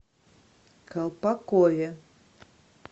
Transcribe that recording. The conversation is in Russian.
колпакове